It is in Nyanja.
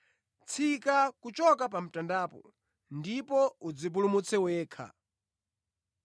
tsika kuchoka pa mtandapo ndipo udzipulumutse wekha!”